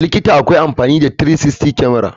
A likita m akwai amfani da 360 kamara.